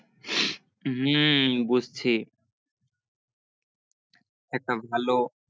হম বুঝছি একটা ভালো